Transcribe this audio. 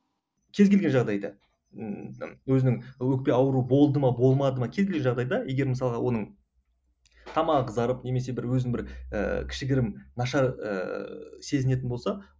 кез келген жағдайда ммм өзінің өкпе ауруы болды ма болмады ма кез келген жағдайда егер мысалға оның тамағы қызарып немесе бір өзін бір ііі кішігірім нашар ііі сезінетін болса